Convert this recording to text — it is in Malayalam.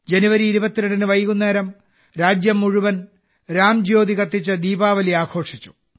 ജനുവരി 22 ന് വൈകുന്നേരം രാജ്യം മുഴുവൻ രാംജ്യോതി കത്തിച്ച് ദീപാവലി ആഘോഷിച്ചു